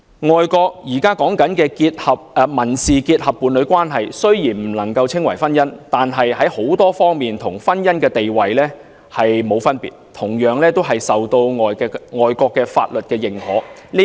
外國現時的民事結合伴侶關係雖然不能夠稱為婚姻，但各方面與婚姻地位無異，同樣受到外國的法律認可。